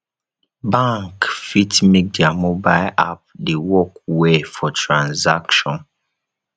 bank fit make their mobile app dey work well for transaction